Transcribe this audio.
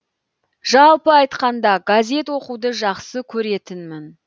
жалпы айтқанда газет оқуды жақсы көретінмін